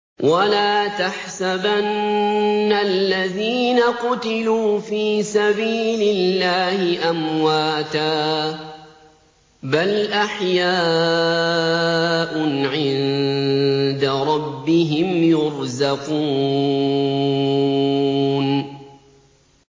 وَلَا تَحْسَبَنَّ الَّذِينَ قُتِلُوا فِي سَبِيلِ اللَّهِ أَمْوَاتًا ۚ بَلْ أَحْيَاءٌ عِندَ رَبِّهِمْ يُرْزَقُونَ